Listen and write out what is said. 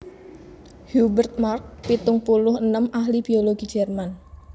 Hubert Markl pitung puluh enem ahli biologi Jerman